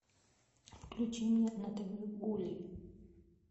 включи мне на тв гулли